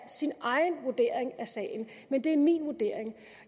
sin egen vurdering af sagen men det er min vurdering